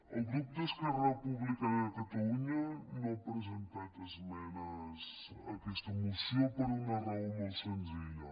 el grup d’esquerra republicana de catalunya no ha presentat esmenes a aquesta moció per una raó molt senzilla